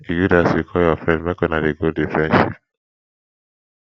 e good as you call your friend make una dey grow di friendship